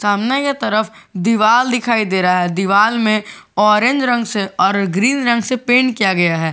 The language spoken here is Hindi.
सामने के तरफ दिवाल दिखाई दे रहा है दिवाल में ऑरेंज रंग से और ग्रीन रंग से पेंट किया गया है।